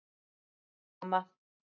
Takk mamma!